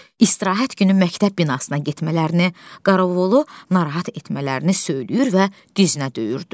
İstirahət günü məktəb binasına getmələrini, qaraolu narahat etmələrini söyləyir və dizinə döyürdü.